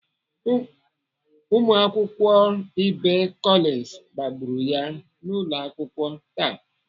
Ụmụakwụkwọ ibe Collins kpagburu ya n'ụlọakwụkwọ taa.